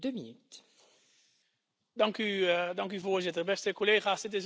Voorzitter, beste collega's, het is een mooie dag wat mij betreft.